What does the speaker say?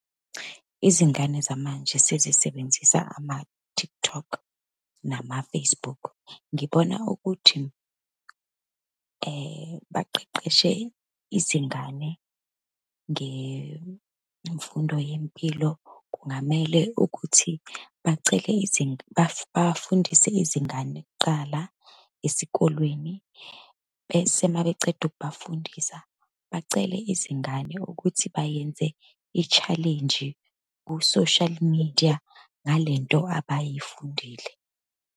Izingane zamanje sezisebenzisa ama-TikTok, nama-Facebook. Ngibona ukuthi baqeqeshe izingane ngemfundo yempilo, kungamele ukuthi bacele bafundise izingane kuqala esikolweni, bese uma beceda ukubafundisa, bacele izingane ukuthi bayenze i-challenge ku-social media ngale nto abayifundile.